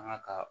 An ka ka